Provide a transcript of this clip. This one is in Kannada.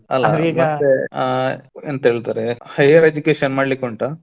ಆ ಎಂತ ಹೇಳ್ತಾರೆ higher education ಮಾಡ್ಲಿಕ್ಕುಂಟಾ?